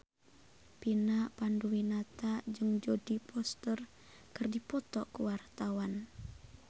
Vina Panduwinata jeung Jodie Foster keur dipoto ku wartawan